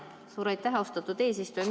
Suur aitäh, austatud eesistuja!